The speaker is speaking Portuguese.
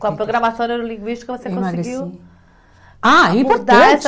Com a programação neurolinguística você conseguiu abordar essa